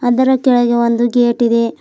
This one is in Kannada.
ಅದರ ಕೆಳಗೆ ಒಂದು ಗೇಟ್ ಇದೆ.